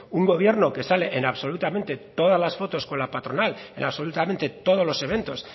un gobierno que sale en absolutamente todas las fotos con la patronal en absolutamente todos los eventos